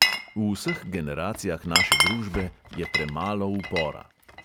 V vseh generacijah naše družbe je premalo upora.